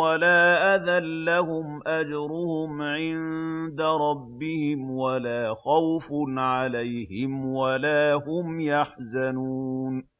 وَلَا أَذًى ۙ لَّهُمْ أَجْرُهُمْ عِندَ رَبِّهِمْ وَلَا خَوْفٌ عَلَيْهِمْ وَلَا هُمْ يَحْزَنُونَ